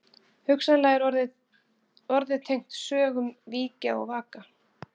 Hugsanlega er orðið tengt sögnunum víkja og vaka.